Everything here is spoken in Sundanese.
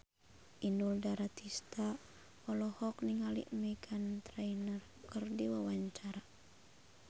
Inul Daratista olohok ningali Meghan Trainor keur diwawancara